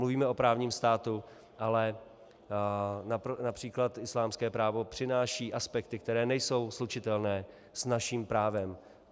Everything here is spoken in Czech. Mluvíme o právním státu, ale například islámské právo přináší aspekty, které nejsou slučitelné s naším právem.